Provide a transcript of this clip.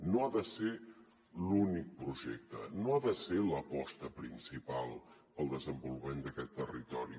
no ha de ser l’únic projecte no ha de ser l’aposta principal pel desenvolupament d’aquest territori